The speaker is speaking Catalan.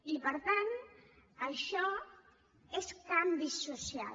i per tant això és canvi social